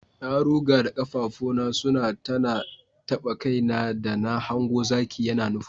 Na ruga da kafafuna suna tana taba kaina da na hango zaki ya nufo ni.